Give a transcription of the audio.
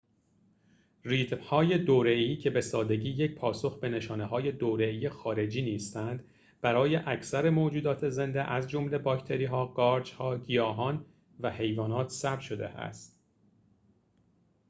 ریتم‌های دوره‌ای که به سادگی یک پاسخ به نشانه‌های دوره‌ای خارجی نیستند برای اکثر موجودات زنده از جمله باکتری‌ها قارچ‌ها گیاهان و حیوانات ثبت شده است